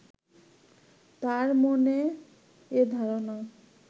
তাঁর মনে এ ধারণা